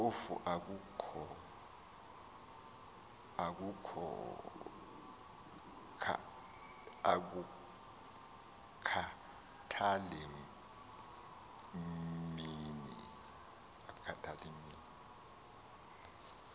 phofu akukhathali mini